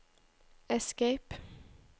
escape